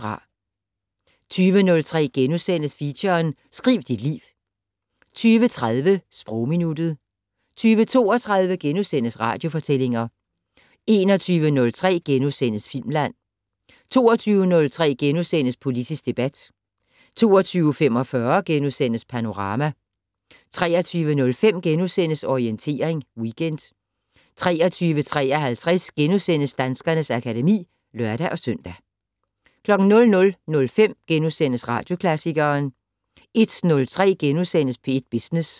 20:03: Feature: Skriv dit liv * 20:30: Sprogminuttet 20:32: Radiofortællinger * 21:03: Filmland * 22:03: Politisk debat * 22:45: Panorama * 23:05: Orientering Weekend * 23:53: Danskernes akademi *(lør-søn) 00:05: Radioklassikeren * 01:03: P1 Business *